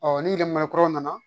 nimɔrɔ kuraw nana